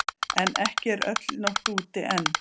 En ekki er öll nótt úti enn.